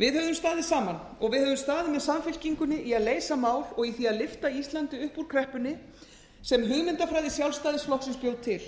við höfum staðið saman og við höfum staðið með samfylkingunni í að leysa mál og í því að lyfta íslandi upp úr kreppunni sem hugmyndafræði sjálfstæðisflokksins bjó til